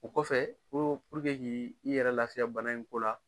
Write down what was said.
O kɔfɛ ko ki i yɛrɛ lafiya bana in ko la